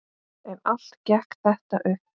En allt gekk þetta upp.